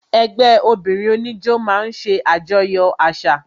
Ẹgbẹ́ obìnrin oníjó máa ń ṣe ajoyo àṣà